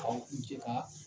k'an kuce ka